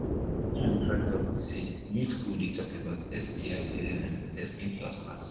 watin i they try talk be say make school they talk about sti um testing health class